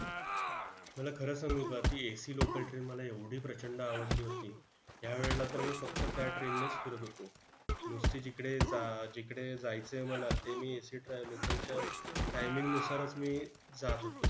मला खरं सांगू का? ती AC local train मला एवढी प्रचंड आवडली होती. त्यावेळेला तर मी फक्त त्या train नेच फिरत होतो. नुसती जिकडे जा जिकडे जायचं आहे मला, ते मी AC local च्या timing नुसारच मी जात होतो.